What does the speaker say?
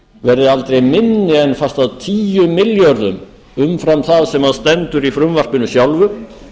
verði aldrei minni en fast að tíu milljörðum umfram það sem stendur í frumvarpinu sjálfu